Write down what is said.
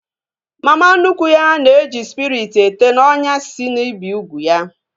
Mama nnukwu ya na-eji spiriti ete n'ọnyà si na ibi úgwù ya